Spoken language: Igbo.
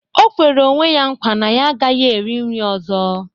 O kwere onwe ya nkwa na ya agaghị eri nri ọzọ